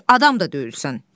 Sən heç adam da deyilsən.